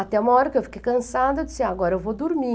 Até uma hora que eu fiquei cansada, eu disse, agora eu vou dormir.